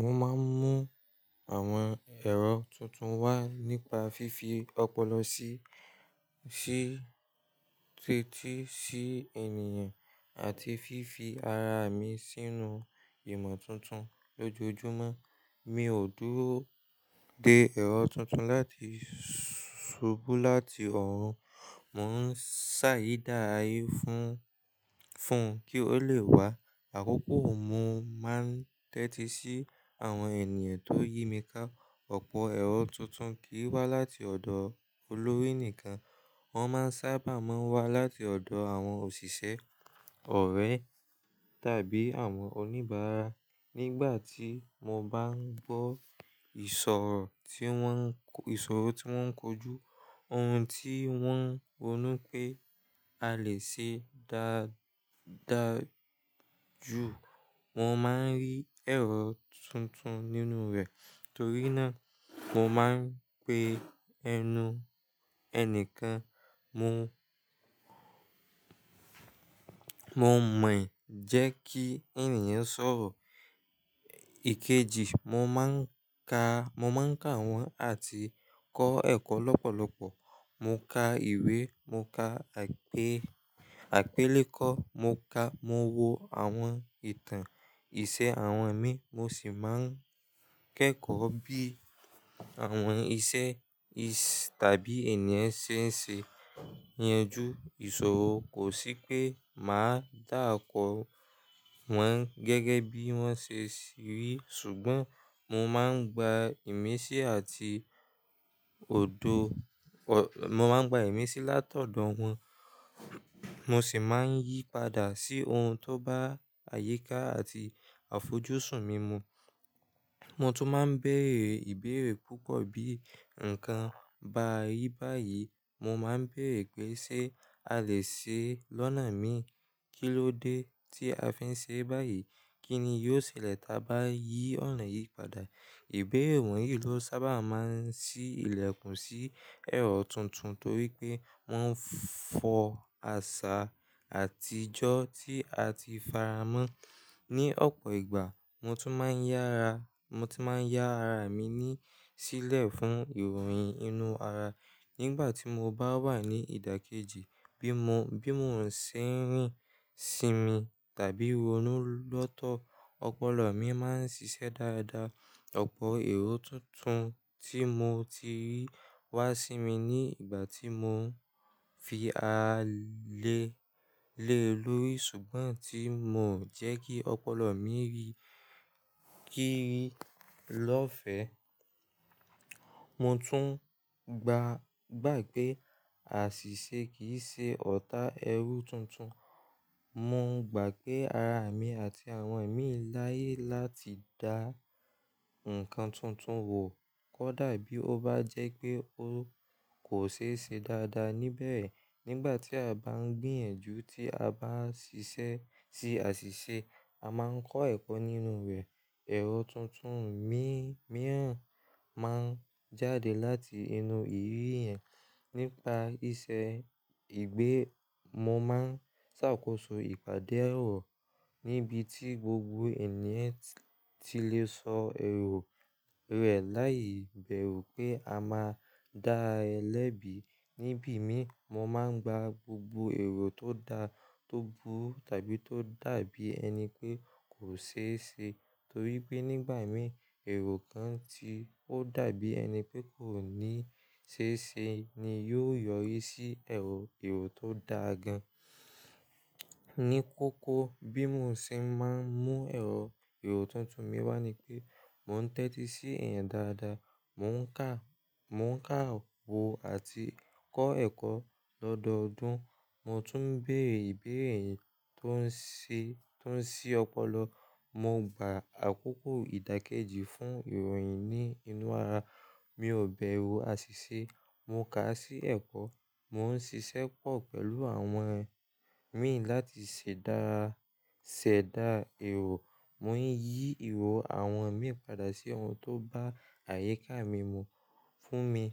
Mo máa ń mú àwọn ẹ̀rọ tuntun wá nípa fífi ọpọlọ sí, sí, tẹ́tí sí ènìyàn àti fífi ara mi sínú ìmọ̀ tuntun lójoojúmọ́. Mi ò dúró de ẹ̀rọ tuntun láti ṣubú láti ọ̀run, mò ń ṣàyèdá a fún, fún kí ó lè wá. Àkókò mi mó máa ń tẹ́tí sí àwọn ènìyàn tó yí mi ká. Ọ̀pọ̀ ẹ̀rọ tuntun kì í wá láti ọ̀dọ̀ olórí nìkan, wọ́n máa sábà máa ń wá láti ọ̀dọ̀ àwọn òṣìṣẹ́, ọ̀rẹ́ tàbí àwọn oníbàárà. Nígbà tí mo bá ń gbọ́ ìṣòro tí wọ́n ń ko, ìṣòro tí wọ́n ń kojú, ohun tí wọ́n ronú pé a lè ṣe dá, dáa ju, mo máa ń rí ẹ̀rọ tuntun nínú rẹ̀. Torí náà, mo máa ń pe ẹnu ẹni kan, mo, mo mọ̀ jẹ́ kí ènìyàn sọ̀rọ̀. Èkejì, mo máa ń ka, mo máa ń ka àwọn àti kọ́ ẹ̀kọ́ lọ́pọ̀lọpọ̀. Mo ka ìwé, mo ka àpe, àpélékọ́, mo ka, mo wo àwọn ìtàn ìṣe àwọn ẹ̀mí, mo sì máa ń kẹ́kọ̀ọ́ bí àwọn iṣẹ́ í ṣe tàbí ènìyàn ṣe ń ṣe é yanjú ìṣòro. Kò sí pé màá dá oko wọn gẹ́gẹ́ bí wọ́n ṣe rí, ṣùgbọ́n mo máa ń gba ìmísí àti òdo, ọ̀, mo máa ń gba ìmísí látọ̀dọ̀ wọn, mo sì máa ń yí padà sí ohun tó bá àyíká àti àfojúsùn mímu. Mo tún máa ń bèèrè ìbéèrè púpọ̀ bí nǹkan ba rí báyìí. Mo máa ń bèèrè pé ṣé a lè ṣe é lọ́nà mi? Kí ló dé tí a fi ń ṣe é báyìí? Kí ni yóò ṣẹlẹ̀ tí a bá yí ọ̀nà yìí padà? Ìbéèrè wọ̀nyí ló sábà máa ń ṣí ilẹkùn sí ẹ̀rọ tuntun torí pé wọ́n ń fọ àṣà àtijọ́ tí a ti faramọ́ ní ọ̀pọ̀ ìgbà. Mo tún máa ń yára, mo tún máa ń yára mi ní sílẹ̀ fún ìròyìn inú ara nígbà tí mo bá wà ní ìdákẹ́jì bí mo, bí mò ń ṣe ń rìn sí mi tàbí ronú lọ́tọ̀. Ọpọlọ mi máa ń ṣiṣẹ́ dáadáa. Ọ̀pọ̀ èrò tuntun tí mo ti rí wá sí mi ní ìgbà tí mò ń fi a lé, lé lórí ṣùgbọ́n tí mò ń jẹ́ kí ọpọlọ mi rí, kí í rí lọ́fẹ̀ẹ́. Mo tún gbá, gbà pé àṣìṣe kì í ṣe ọ̀tá ẹrú tuntun. Mo ń gbà pé ara mi àti àwọn ẹ̀mí láyé láti dá nǹkan tuntun wọ̀ kódà bí ó bá jẹ́ pé ó kò ṣe é ṣe dáadáa níbẹ̀. Nígbà tí a bá ń gbìyànjú tí a bá ń ṣiṣẹ́ sí àṣìṣe, a máa ń kọ́ ẹ̀kọ́ nínú rẹ̀. Ẹ̀rọ tuntun mí, mìíràn máa ń jáde láti inú ìrírí yẹn. Nípa iṣẹ́ ìgbé, mo máa ń ṣàkóso ìpàdé ẹ̀rọ níbi tí gbogbo ènìyàn ti lè sọ èrò rẹ̀ láìbẹru pé a máa dá ẹ lẹ́bi. Ni bí mi, mo máa ń gba gbogbo èrò tó da, tó bu tàbí tó dàbí ẹni pé kò ṣe é ṣe torí pé nígbà mí èrò kan tí ó dàbí ẹni pé kò ní ṣe é ṣe ni yó yọrí sí ẹ̀rò, èrò tó dá gan-an. Ni kókó bí mo ṣe máa ń mú ẹ̀rọ, èrò tuntun mi wá ni pé mò ń tẹ́tí sí ẹ̀yan dáadáa, mò ń kà, mò ń kà wo àti kọ́ ẹ̀kọ́ lọ́dọọdún. Mo tún ń bèrè ìbéèrè ẹni tó ń ṣe, tó ń ṣí ọpọlọ. Mo gba àkókò ìdákẹ́jì fún ìròyìn ní inú ara. Mi ò bẹru àṣìṣe. Mo kà á sí ẹ̀kọ́. Mo ń ṣiṣẹ́ pọ̀ pẹ̀lú àwọn ẹ̀mí láti ṣẹ̀dá, ṣẹ̀dá èrò. Mo ń yí ìwọ àwọn mi padà sí ohun tó bá àyíká mímu fún mi.